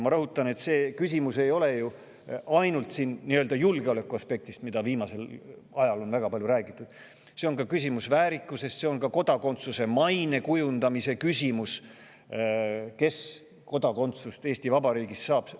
Ma rõhutan, et see küsimus ei ole ju seotud vaid julgeolekuaspektiga, millest on viimasel ajal väga palju räägitud, vaid see on ka väärikuse küsimus ja see on kodakondsuse maine kujundamise küsimus, kes saab Eesti Vabariigis kodakondsuse.